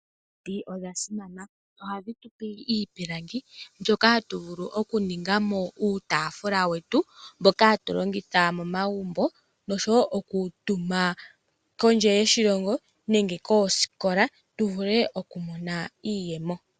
Omiti odha simana. Ohadhi tupe iipilangi, mbyoka hatu vulu okuningamo uutaafula wetu, mboka hatu longitha momagumbo, noshowo okutuma kondje yoshilongo, nenge koosikola, tuvule okumonamo iiyemo.